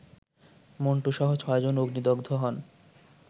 মন্টুসহ ছয় জন অগ্নিদগ্ধ হন